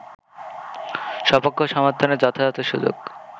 স্বপক্ষ সমর্থনের যথাযথ সুযোগ